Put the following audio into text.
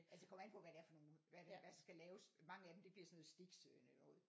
Altså det kommer an på hvad det er for nogle hvad det hvad skal laves. Mange af dem det bliver sådan nogle sticks eller noget